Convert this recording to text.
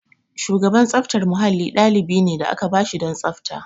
Shugaban tsaftar mahalli ɗalibi ne da aka ba shi don tsafta.